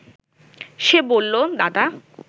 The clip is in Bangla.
সে বলল, দাদা